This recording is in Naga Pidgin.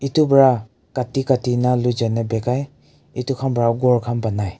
Etu para kati kati na loijana bekai etu khan para ghor khan banai.